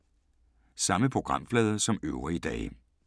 Samme programflade som øvrige dage